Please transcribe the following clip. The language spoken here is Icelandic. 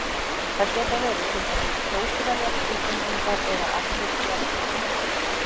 Það geta verið til dæmis Kjósverjar, Íslendingar eða allir jarðarbúar.